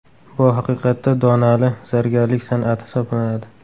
Bu haqiqatda donali zargarlik san’ati hisoblanadi.